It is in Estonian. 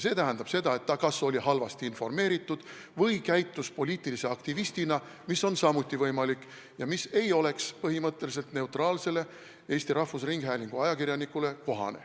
See tähendab, et ta oli kas halvasti informeeritud või käitus poliitilise aktivistina, mis on samuti võimalik ja mis ei oleks põhimõtteliselt neutraalse Eesti Rahvusringhäälingu ajakirjanikule kohane.